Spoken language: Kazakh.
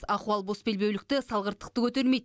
ахуал босбелбеулікті салғырттықты көтермейді